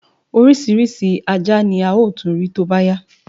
Orísirísi Ajá ni a ó tún rí tóbá yá